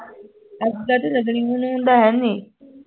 ਐਦਾਂ ਹੈਨੀ